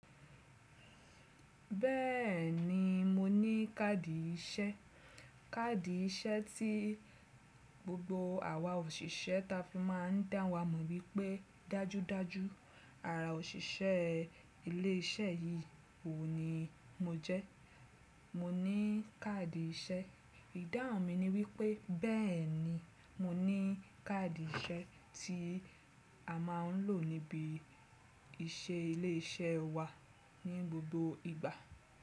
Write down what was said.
Bẹ́ẹ̀ni mo ní káàdì iṣẹ́, káàdì iṣẹ́ tí gbogbo àwa òṣìṣẹ́ ta fi máa ń dá wa mọ̀ wípé dájúdájú ara òṣìṣẹ́ ilé iṣẹ́ yìí oun ni mo jẹ́. Mo ní káàdì iṣẹ́, ìdáhùn mi ni wípé bẹ́ẹ̀ni mo ní káàdì iṣẹ́ tí a máa ń lò níbi ìṣe ilé iṣẹ́ wa ní gbogbo ìgbà.